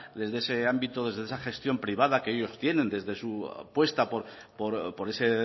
desde ese ámbito desde esa gestión privada que ellos tienen desde su apuesta por ese